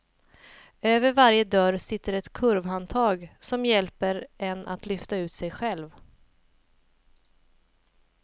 Över varje dörr sitter ett kurvhandtag, som hjälper en att lyfta ut sig själv.